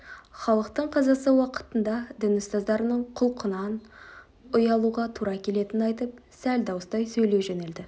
халықтың қазасы уақытында дін ұстаздарының құлқынан ұялуға тура келетінін айтып сәл дауыстай сөйлей жөнелді